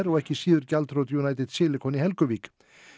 og ekki síður gjaldþrot United Silicon í Helguvík